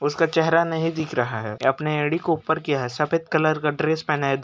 उसका चेहरा नहीं दिख रहा है। अपनी एड़ी को ऊपर किया है। सफेद कलर का ड्रेस पहना है।